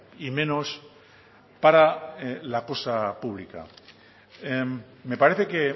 y menos para la cosa pública me parece que